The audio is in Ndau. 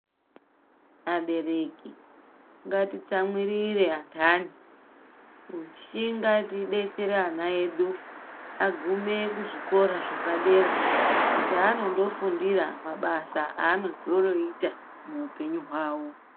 Vabereki ngatitsamwirire antani kushinga teidetsera ana edu agume kuzvikora zvepadera kwaanondofundira mabasa anozondoita muupenyu hwavo.